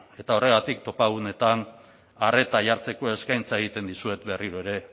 eta horregatik topagunetan arreta jartzeko eskaintza egiten dizuet berriro ere